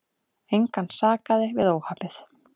Engan sakaði við óhappið.